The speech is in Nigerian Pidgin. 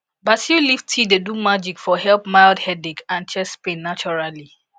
basil leaf tea dey do magic for help mild headache and chest pain naturally